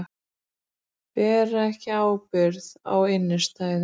Bera ekki ábyrgð á innstæðum